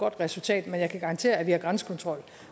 godt resultat men jeg kan garantere at vi har grænsekontrol